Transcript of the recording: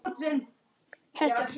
Þetta er mikil saga!